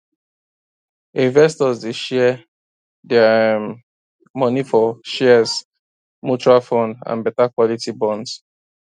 investors dey share dia um money for shares mutual fund and better quality bonds